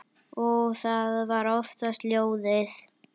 Og það var oftast lóðið.